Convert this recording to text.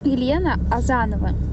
елена азанова